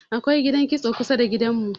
akwai gidan kitso kusada da gidan mu